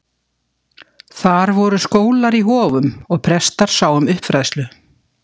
Þar voru skólar í hofum og prestar sáu um uppfræðslu.